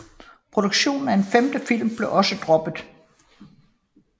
Produktionen af en femte film blev også droppet